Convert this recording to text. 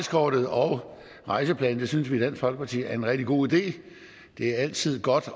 rejseplanen as synes vi i dansk folkeparti er en rigtig god idé det er altid godt